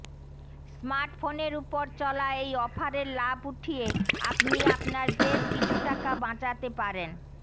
স্মার্টফোনের ওপর চলা এই অফারের লাভ উঠিয়ে আপনি আপনার বেশ কিছু টাকা বাচাতে পারেন